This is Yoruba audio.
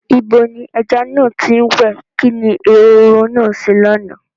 Ibo ni ẹja náà ti ń wẹ̀? Kí ni ehoro náà ṣe lánàá?